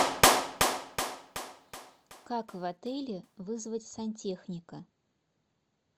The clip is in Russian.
как в отеле вызвать сантехника